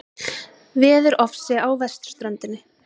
Veðurofsi á vesturströndinni